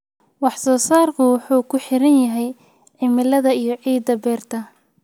Wax-soo-saarku wuxuu ku xiran yahay cimilada iyo ciidda beerta.